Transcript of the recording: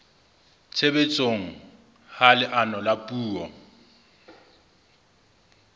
tshebetsong ha leano la puo